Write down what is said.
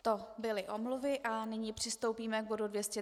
To byly omluvy a nyní přistoupíme k bodu